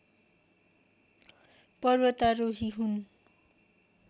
पर्वतारोही हुन्